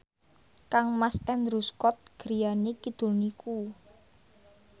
kangmas Andrew Scott griyane kidul niku